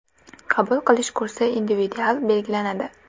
Qabul qilish kursi individual belgilanadi.